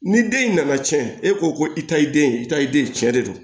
Ni den in nana cɛn e ko ko i ta ye den ye i ta ye den cɛ de don